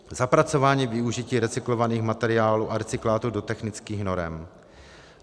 Zapracování využití recyklovaných materiálů a recyklátů do technických norem.